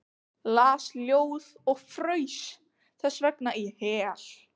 Las ljóð og fraus þessvegna í hel.